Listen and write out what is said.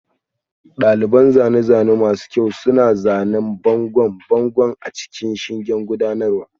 Daliban zane-zane masu kyau suna zanen bangon bango a cikin shingen gudanarwa